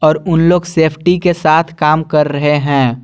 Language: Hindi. और उन लोग सेफ्टी के साथ काम कर रहे हैं।